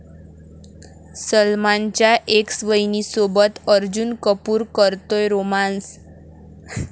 सलमानच्या एक्स वहिनीसोबत अर्जून कपूर करतोय रोमान्स?